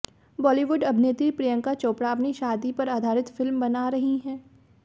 बॉलीवुड अभिनेत्री प्रियंका चोपड़ा अपनी शादी पर आधारित फिल्म बना रही हैं